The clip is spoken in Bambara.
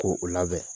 Ko o labɛn